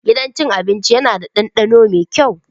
Gidan cin abinci yana da ɗandano mai kyau.